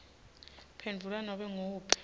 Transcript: phendvula nobe nguwuphi